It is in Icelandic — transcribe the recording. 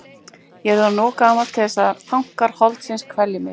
Ég er orðinn of gamall til þess að þankar holdsins kvelji mig.